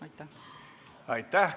Aitäh!